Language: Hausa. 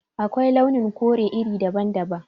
Akwai launin kore iri daban-daban